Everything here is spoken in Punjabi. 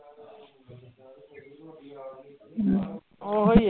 ਉਹੀ ਹੈ